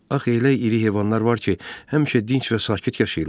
Axı elə iri heyvanlar var ki, həmişə dinc və sakit yaşayırlar.